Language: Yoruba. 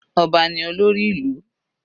Ọba ni olórí ìlú.